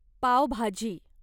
पाव भाजी